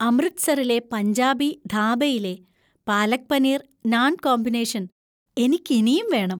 അമൃത്‌സറിലെ പഞ്ചാബി ധാബയിലെ പാലക് പനീര്‍ നാന്‍ കോമ്പിനേഷൻ എനിക്കിനിയും വേണം.